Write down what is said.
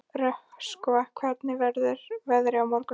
Röskva, hvernig verður veðrið á morgun?